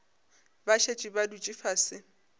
ba šetše ba dutše fase